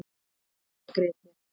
Þessvegna grét ég